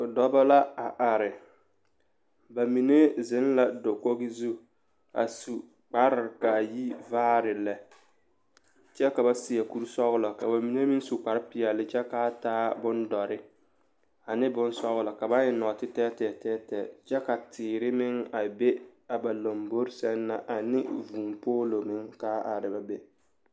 Dɔbɔ la a are ba mine zeŋ la dakoɡi zu a su kparr ka a yi vaare lɛ kyɛ ka ba seɛ kursɔɡelɔ ka ba mine meŋ su kparpeɛle kyɛ ka a taa bondɔre ane bone sɔɡelɔ ka ba ka ba eŋ nɔɔtetɛɛtɛɛ kyɛ ka teere meŋ be a ba lambori meŋ sɛŋ na ane vūūpoolo meŋ ka a are ba be.